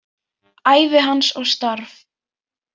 Ævi hans og starf.